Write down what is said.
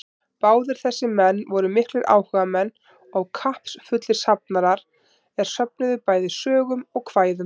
Báðir þessir menn voru miklir áhugamenn og kappsfullir safnarar, er söfnuðu bæði sögum og kvæðum.